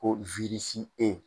O wiirisi tɛ yen